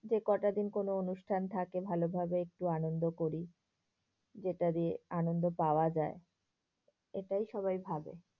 কটাদিন কোনো অনুষ্ঠান থাকে ভালোভাবে একটু আনন্দ করি। যেটা দিয়ে আনন্দ পাওয়া যায় সেটাই সবাই ভাবে।